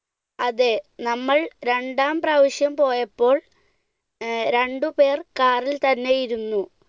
അതെ നമ്മൾ രണ്ടാം പ്രാവശ്യം പോയപ്പോൾ രണ്ടുപേർ car ൽ തന്നെ ഇരുന്നു.